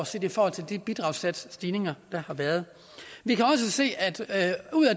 set i forhold til de bidragssatsstigninger der har været vi kan også se at